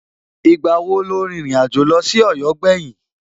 Ìgbà wo lo rìnrìn àjò lọ sí Ọ̀yọ́ gbẹ̀yìn?